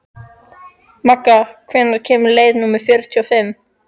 Magga, hvenær kemur leið númer fjörutíu og fimm?